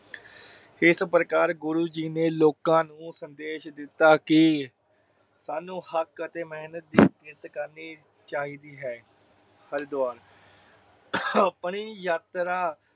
ਇਸ ਪ੍ਰਕਾਰ ਗੁਰੂ ਜੀ ਨੇ ਲੋਕਾ ਨੂੰ ਸੰਦੇਸ਼ ਦਿਤਾ ਕਿ ਸਾਨੂੰ ਹੱਕ ਅਤੇ ਮਿਹਨਤ ਦੀ ਇਜ਼ਤ ਕਰਨੀ ਚਾਹੀਦੀ ਹੈ। ਹਰਿਦਵਾਰ ਆਪਣੀ ਯਾਤਰਾ